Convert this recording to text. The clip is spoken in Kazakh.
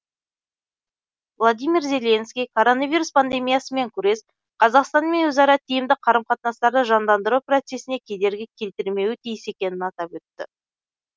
владимир зеленский коронавирус пандемиясымен күрес қазақстанмен өзара тиімді қарым қатынастарды жандандыру процесіне кедергі келтірмеуі тиіс екенін атап өтті